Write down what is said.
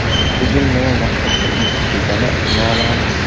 Hujum nima maqsadda uyushtirilgani noma’lum.